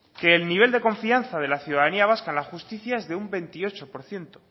que el nivel de confianza de la ciudadanía vasca en la justicia es de un veintiocho por ciento